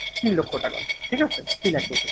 তিন লক্ষ টাকা ঠিক আছে? free লাগবে।